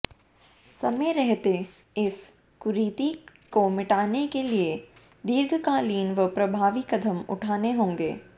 समय रहते इस कुरीति को मिटाने के लिए दीर्घकालीन व प्रभावी कदम उठाने होंगे